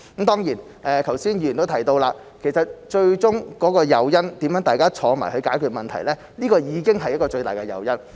當然，剛才議員都提到，最終的誘因方面，大家坐下來商討解決問題已經是一個最大的誘因。